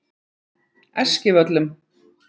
Eskivöllum